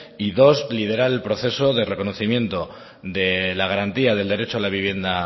y dos liberar el proceso de reconocimiento de la garantía del derecho a la vivienda